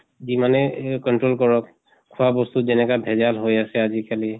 যিমানে এহ control কৰক, খোৱা বস্ত যেনেকা ভেজাল হৈ আছে আজি কালি